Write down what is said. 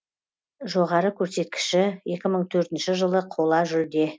жоғары көрсеткіші екі мың төртінші жылы қола жүлде